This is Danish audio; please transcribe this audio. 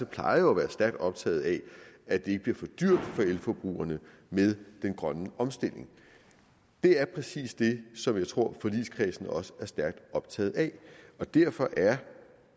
plejer jo at være stærkt optaget af at det ikke bliver for dyrt for elforbrugerne med den grønne omstilling og det er præcis det som jeg tror forligskredsen også er stærkt optaget af og derfor er